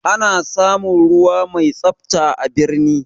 Ana samun ruwa mai tsafta a birni